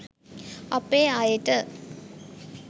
අපේ අයට